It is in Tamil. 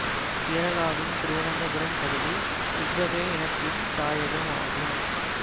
கேரளாவின் திருவனந்தபுரம் பகுதி இவ்வகை இனத்தின்தாயகமாகும்